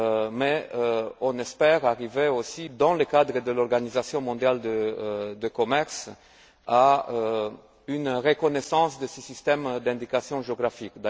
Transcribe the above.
Mais on espère arriver aussi dans le cadre de l'Organisation mondiale du commerce à une reconnaissance de ce système d'indication géographique.